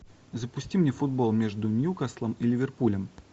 запусти мне футбол между ньюкаслом и ливерпулем